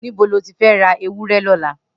Nibo ló ti fẹ̀ rà éwùrẹ̀ lọlá?